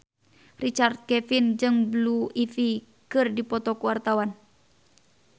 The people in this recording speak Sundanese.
Richard Kevin jeung Blue Ivy keur dipoto ku wartawan